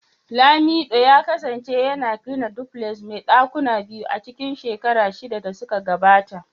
lamido ya kasance yana gina duplex mai dakuna biyu a cikin shekaru shida da suka gabata.